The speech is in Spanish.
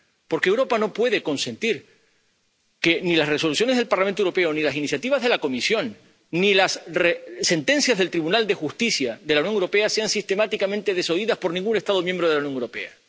Porque Europa no puede consentir que ni las Resoluciones del Parlamento Europeo, ni las iniciativas de la Comisión, ni las sentencias del Tribunal de Justicia de la Unión Europea sean sistemáticamente desoídas por ningún Estado miembro de la Unión Europea.